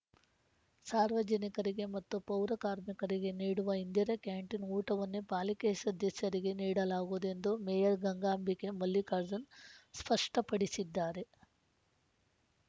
ಸಾರ್ವಜನಿಕರಿಗೆ ಮತ್ತು ಪೌರಕಾರ್ಮಿಕರಿಗೆ ನೀಡುವ ಇಂದಿರಾ ಕ್ಯಾಂಟೀನ್‌ ಊಟವನ್ನೇ ಪಾಲಿಕೆ ಸದಸ್ಯರಿಗೆ ನೀಡಲಾಗುವುದು ಎಂದು ಮೇಯರ್‌ ಗಂಗಾಂಬಿಕೆ ಮಲ್ಲಿಕಾರ್ಜುನ್‌ ಸ್ಪಷ್ಟಪಡಿಸಿದ್ದಾರೆ